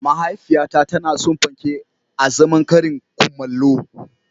Mahaifiyata tana son panke azaman karin kumallo.